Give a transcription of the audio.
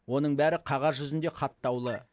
оның бәрі қағаз жүзінде хаттаулы